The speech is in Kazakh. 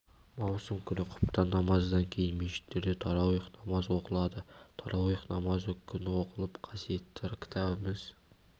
маусым күні құптан намазынан кейін мешіттерде тарауих намазы оқылады тарауих намазы күн оқылып қасиетті кітабымыз